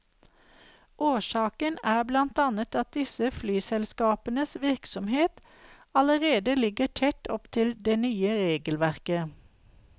Årsaken er blant annet at disse flyselskapenes virksomhet allerede ligger tett opp til det nye regelverket.